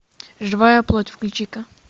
живая плоть включи ка